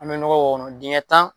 An be nɔgɔ k'o kɔnɔ. Dingɛ tan